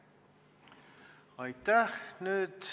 Aitäh!